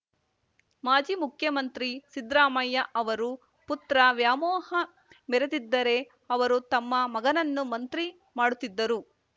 ಮಾಜಿ ಮುಖ್ಯಮಂತ್ರಿ ಸಿದ್ದರಾಮಯ್ಯ ಅವರು ಪುತ್ರ ವ್ಯಾಮೋಹ ಮೆರೆದಿದ್ದರೆ ಅವರು ತಮ್ಮ ಮಗನನ್ನು ಮಂತ್ರಿ ಮಾಡುತ್ತಿದ್ದರು